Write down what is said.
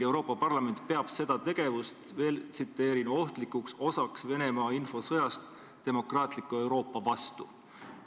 Euroopa Parlament peab seda tegevust "ohtlikuks osaks Venemaa infosõjast demokraatliku Euroopa vastu".